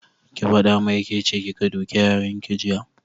Ki faɗa mai ke ce kika duke yaran ki jiya!